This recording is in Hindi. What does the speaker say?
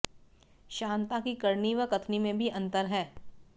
शांता की करनी व कथनी में भी अंतर है